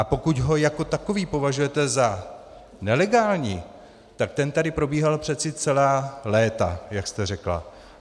A pokud ho jako takový považujete za nelegální, tak ten tady probíhal přece celá léta, jak jste řekla.